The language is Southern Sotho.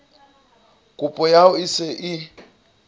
kopo ya hao e se